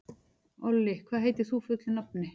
Olli, hvað heitir þú fullu nafni?